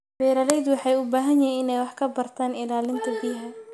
Beeralayda waxay u baahan yihiin inay wax ka bartaan ilaalinta biyaha.